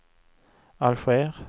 Alger